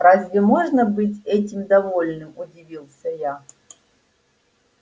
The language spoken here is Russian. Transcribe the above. разве можно быть этим довольным удивился я